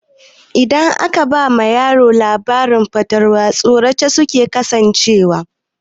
Idan aka ba yaro labarin fatalwa,a tsorace suke kasancewa.